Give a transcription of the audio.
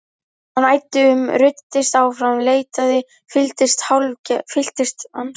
Hann æddi um, ruddist áfram, leitaði, fylltist hálfgerðu æði.